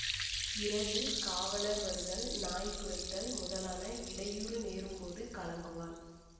இரவில் காவலர் வருதல் நாய் குரைத்தல் முதலான இடையூறு நேரும்போது கலங்குவாள்